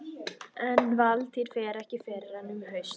En Valtýr fer ekki fyrr en um haustið.